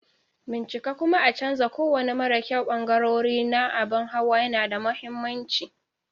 Bincika kuma a canza kowane mara kyau ɓangarori na abin hawa yana da mahimmanci.